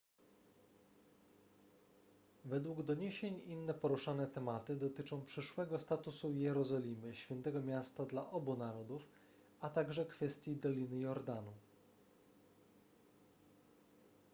według doniesień inne poruszane tematy dotyczą przyszłego statusu jerozolimy świętego miasta dla obu narodów a także kwestii doliny jordanu